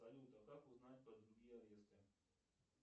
салют а как узнать про другие аресты